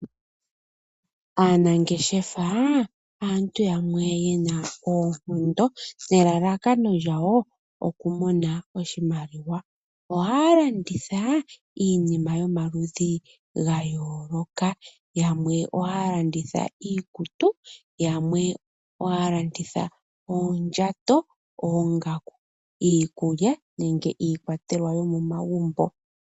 Aanangeshefa aantu yamwe ye na oonkondo nelalakano lyawo okumona oshimaliwa. Ohaya landitha iinima yomaludhi ga yooloka, yamwe ohaya landitha iikutu, yamwe ohaya landitha oondjato, oongaku, iikulya nenge iikwatelwa yomomagumbo.